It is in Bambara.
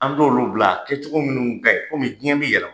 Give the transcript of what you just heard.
An d'olu bila kɛcogo minnu ka ɲi komi diɲɛ bi yɛlɛma.